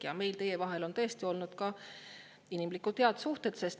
Ja meie vahel on tõesti olnud inimlikud, head suhted.